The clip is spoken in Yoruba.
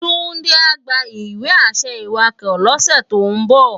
Tunde á gbá iwe-ašẹ iwákò lòs tó n bò